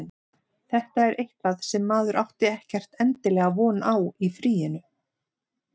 Þetta er eitthvað sem maður átti ekkert endilega von á í fríinu.